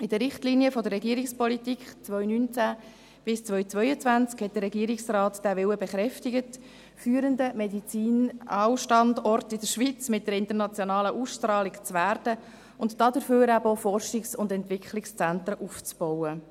In den Richtlinien der Regierungspolitik 2019–2022 hat der Regierungsrat diesen Willen bekräftigt, führender Medizinalstandort der Schweiz mit internationaler Ausstrahlung zu werden und dafür auch Forschungs- und Entwicklungszentren aufzubauen.